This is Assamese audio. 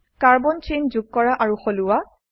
কাৰ্বন চেইন যোগ কৰা আৰু সলোৱা